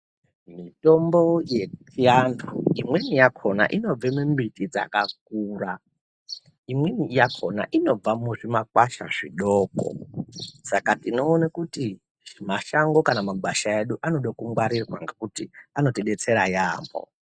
Mitombo yechiantu imweni yakhona inobve mumbiti dzakakura imweni yakhona inobva muzvimakwasha zvidoko saka tinoona kuti mashango kana magwasha edu anode kungwarirwa ngekuti anoti detsera yeyamho.